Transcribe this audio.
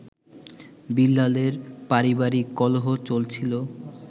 বিল্লালের পারিবারিক কলহ চলছিল